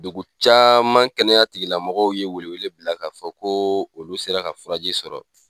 Dugu caman kɛnɛya tigilamɔgɔw ye welew bila k'a fɔ ko olu sera ka furaji sɔrɔ